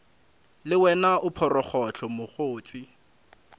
le wena o phorogohlo mokgotse